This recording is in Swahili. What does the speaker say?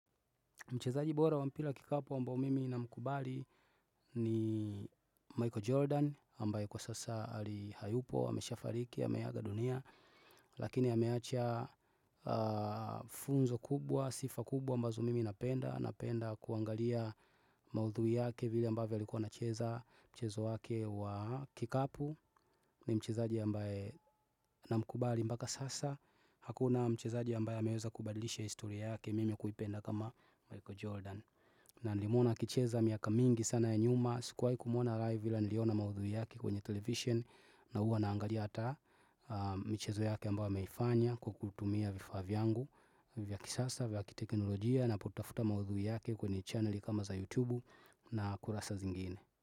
Mchezaji bora wa mpira wa kikapu ambao mimi namkubali ni Michael Jordan, ambaye kwa sasa hayupo, amesha fariki, ameaga dunia, lakini ameacha funzo kubwa, sifa kubwa ambazo mimi napenda, napenda kuangalia maudhui yake vile ambavyo alikuwa anacheza mchezo wake wa kikapu ni mchezaji ambaye namkubali mpaka sasa. Hakuna mchezaji ambaye ameweza kubadilisha historia yake mimi kuipenda kama Michael Jordan na nilimuona akicheza miaka mingi sana ya nyuma. Sikuwai kumwona live ila niliona maudhui yake kwenye television na huwa naangalia hata michezo yake ambayo ameifanya Kwa kutumia vifaa vyangu vyakisasa vya kiteknolojia napo tafuta maudhui yake kwenye channeli kama za YouTube na kurasa zingine.